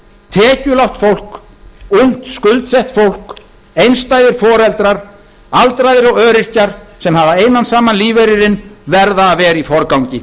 tekjulágt fólk ungt skuldsett fólk einstæðir foreldrar aldraðir og öryrkjar sem hafa einan saman lífeyrinn verða að vera í forgangi